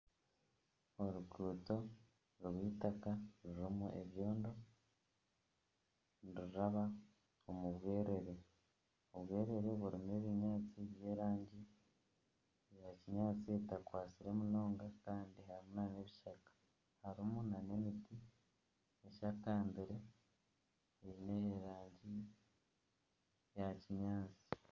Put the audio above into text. Oruguuto rwaitaka rurimu ebyondo, niruraaba omu bwerere, obwerere burimu ebinyaatsi bya kinyaatsi etakwatsire munonga kandi harimu nana ebishaka harimu nana emiti eshakabire eine erangi yakinyaatsi